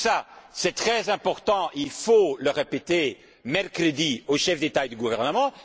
tout cela est très important et il faut donc le répéter mercredi aux chefs d'État et de gouvernement.